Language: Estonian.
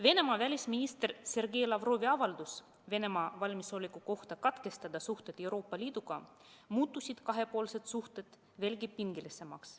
Venemaa välisministri Sergei Lavrovi avaldusega Venemaa valmisoleku kohta katkestada suhted Euroopa Liiduga muutusid kahepoolsed suhted veelgi pingelisemaks.